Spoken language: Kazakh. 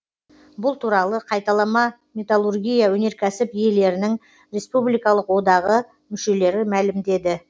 бұл туралы қайталама металлургия өнеркәсіп иелерінің республикалық одағы мүшелері мәлімдеді